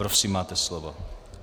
Prosím, máte slovo.